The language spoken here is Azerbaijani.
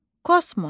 Kosmos.